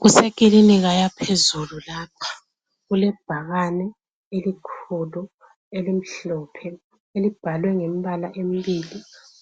Kusekilinika yaphezulu lapha, kulebhakane elikhulu elimhlophe, elibhalwe ngembala embili.